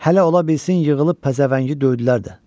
Hələ ola bilsin yığılıb pəzəvəngi döydülər də.